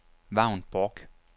Vagn Bork